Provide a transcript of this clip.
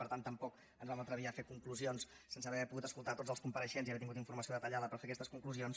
per tant tampoc ens vam atrevir a fer conclusions sense haver pogut escoltar tots els compareixents i haver tingut informació detallada per fer aquestes conclusions